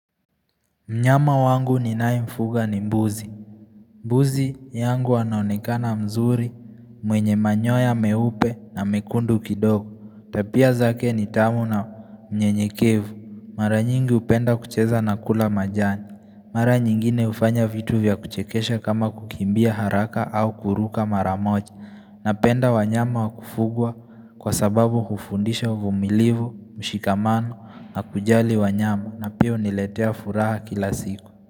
Mnyama wangu ni naimfuga ni mbuzi Buzi yangu wanaonikana mzuri mwenye manyoya meupe na mekundu kidogo Tapia zake ni tamu na mnyenye kevu Mara nyingi upenda kucheza na kula majani Mara nyingine ufanya vitu vya kuchekesha kama kukimbia haraka au kuruka maramoja na penda wanyama wakufugwa kwa sababu hufundisha vumilivu, mshikamano na kujali wanyama na piyo niletea furaha kila siku.